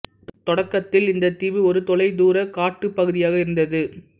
தொடக்கத்தில் இந்தத் தீவு ஒரு தொலைதூரக் காட்டுப் பகுதியாக இருந்தது